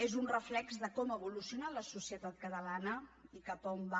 és un reflex de com ha evolucionat la societat catalana i cap a on va